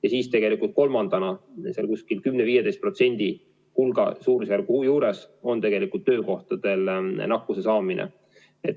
Ja tegelikult kolmandana on seal suurusjärgus 10–15% töökohal nakkuse saamine.